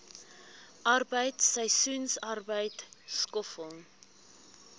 arbeid seisoensarbeid skoffel